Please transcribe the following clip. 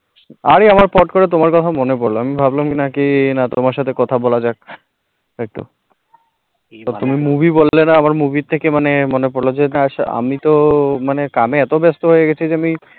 আরে আবার পট করে তোমার কথা মনে পড়ল আমি ভাবলাম কি না কি না তোমার সাথে কথা বলা যাক একটু, অব তুমি movie বললে রা আবার movie থেকে মানে মনে পড়ছে না আমি তো মানে কামে এত ব্যস্ত হয়ে গেছি আমি